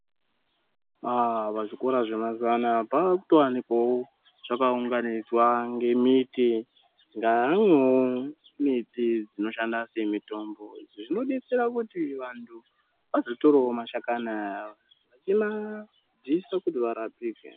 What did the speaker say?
Pazvikora zvemazuuwa anaya panotowanikwawo zvakaunganidzwa ngemiti ngaamwewo miti dzinoshanda semitombo zvinodetsera kuti vanhu vazotorawo mashakani aya veimadziise kuti varapike.